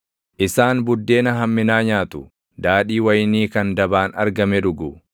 Isaan buddeena hamminaa nyaatu; daadhii wayinii kan dabaan argame dhugu.